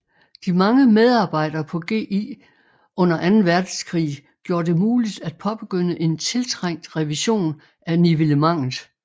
De mange medarbejdere på GI under Anden Verdenskrig gjorde det muligt at påbegynde en tiltrængt revision af nivellementet